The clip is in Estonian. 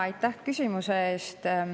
Aitäh küsimuse eest!